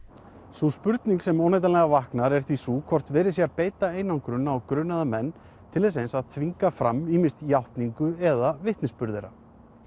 sú spurning sem óneitanlega vaknar er því sú hvort verið sé að beita einangrun á grunaða menn til þess eins að þvinga fram ýmist játningu eða vitnisburð þeirra